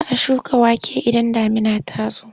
Za a shuka wake idan damuna ta zo.